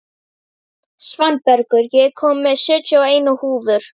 Svanbergur, ég kom með sjötíu og eina húfur!